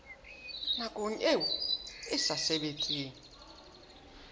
nakong eo e sa sebetseng